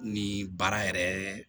Ni baara yɛrɛ